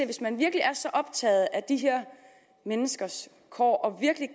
hvis man virkelig er så optaget af de her menneskers kår og virkelig